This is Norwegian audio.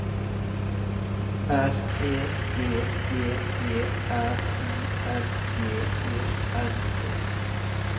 R E G J E R I N G E N E